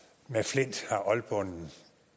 flint har oldbonden